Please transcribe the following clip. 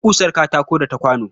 Akwai ƙusar katako da ta kwano